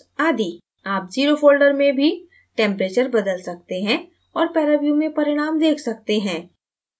आप 0 zero folder में भी टैम्परेचर बदल सकते हैं और paraview में परिणाम देख सकते हैं